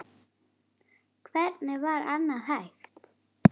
Hvernig var annað hægt?